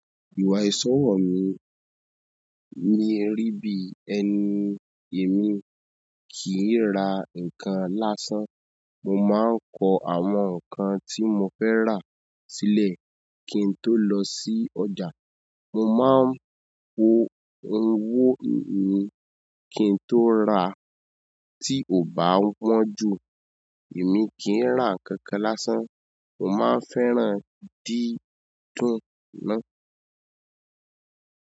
Ìwà ìṣọ̀wọ̀ mi ni erí bí ẹni èmi kì í ra nǹkan lásán. Mo máa ń kọ àwọn nǹkan tí mo fẹ́ rà sílẹ̀ kí n tó lọ sí ọjà. Mo máa ń wo owó mi kí n tó rà tí ò bá wọ̀n jù. Èmi kì í rá nkankan lásán. Mo ma n fẹ́ràn dídùn na.